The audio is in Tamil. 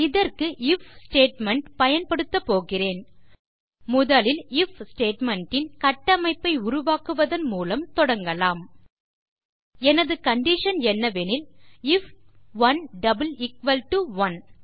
இதற்கு ஐஎஃப் ஸ்டேட்மெண்ட் பயன்படுத்தப் போகிறேன் முதலில் ஐஎஃப் ஸ்டேட்மெண்ட் இன் கட்டமைப்பை உருவாக்குவதன் மூலம் தொடங்கலாம் எனது கண்டிஷன் என்னவெனில் ஐஎஃப் 11